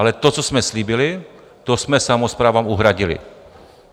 Ale to, co jsme slíbili, to jsme samosprávám uhradili.